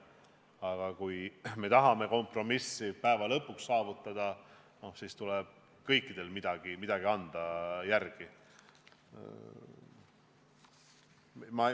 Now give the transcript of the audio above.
Aga kui tahame päeva lõpuks kompromissi saavutada, siis tuleb kõikidel milleski järele anda.